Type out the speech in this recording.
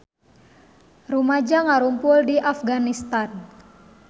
Rumaja ngarumpul di Afganistan